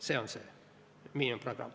See on miinimumprogramm.